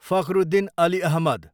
Fakhruddin Ali Ahmad